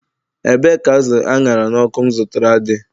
Ebee ka azụ̀ aṅhara n'ọkụ m zụtara dị?